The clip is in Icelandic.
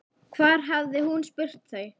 Hvar hafði hún spurt þau?